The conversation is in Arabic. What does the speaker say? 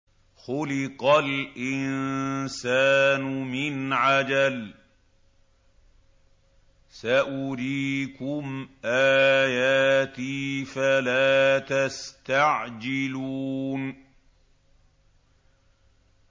خُلِقَ الْإِنسَانُ مِنْ عَجَلٍ ۚ سَأُرِيكُمْ آيَاتِي فَلَا تَسْتَعْجِلُونِ